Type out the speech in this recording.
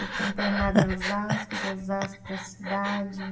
Eu fiquei internada em Osasco, de Osasco para a cidade.